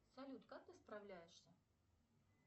салют как ты справляешься